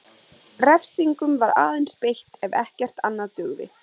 Refsingum var aðeins beitt ef ekkert annað dugði.